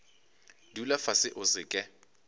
dula fase o se ke